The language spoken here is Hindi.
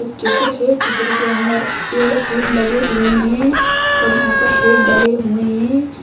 चित्र है चित्र के अंदर पेड़ फूल लगे हुए है और यहाँ पर शेड डाले हुए है।